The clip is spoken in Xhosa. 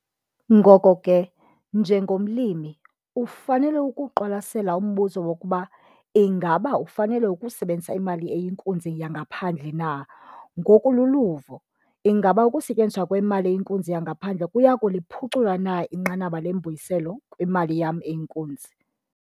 Ngoko ke, njengomlimi, ufanele ukuwuqwalasela umbuzo wokuba ingaba ufanele ukusebenzisa imali eyinkunzi yangaphandle na ngokolu luvo, ingaba ukusetyenziswa kwemali eyinkunzi yangaphandle kuya kuliphucula na inqanaba lembuyiselo kwimali yam eyinkunzi?